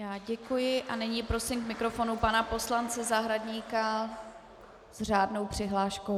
Já děkuji a nyní prosím k mikrofonu pana poslance Zahradníka s řádnou přihláškou.